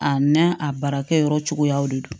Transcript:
A n'a a baarakɛ yɔrɔ cogoyaw de don